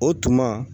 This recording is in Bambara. O tuma